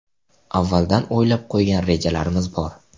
Avvaldan o‘ylab qo‘ygan rejalarimiz bor.